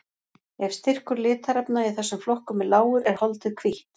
Ef styrkur litarefna í þessum flokkum er lágur er holdið hvítt.